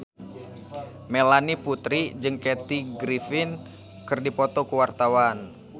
Melanie Putri jeung Kathy Griffin keur dipoto ku wartawan